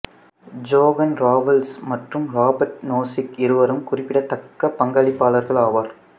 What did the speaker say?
John Rawls மற்றும் Robert Nozick இருவரும் குறிப்பிடத்தக்க பங்களிப்பாளர்கள் ஆவர்